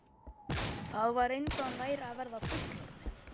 Það var eins og hann væri að verða fullorðinn.